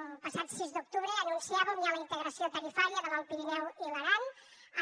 el passat sis d’octubre anunciàvem ja la integració tarifària de l’alt pirineu i l’aran